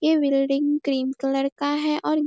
ये building cream colour का है और --